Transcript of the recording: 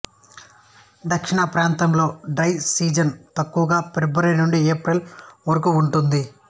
దక్షిణప్రాంతంలో dry season తక్కువగా February నుండి April వరకుఉంటుంది